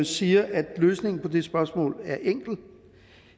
siger at løsningen på det spørgsmål er enkel